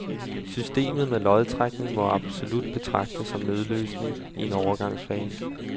Systemet med lodtrækning må absolut betragtes som nødløsning i en overgangsfase.